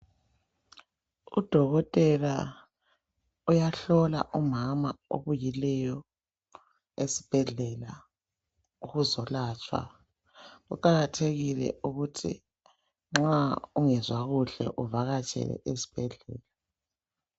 Udokotela uyahlola umama obuyileyo esibhedlela ukuzolatshwa, kuqakathekile ukuthi nxa ungezwa kuhle uvakatshe esibhedlela.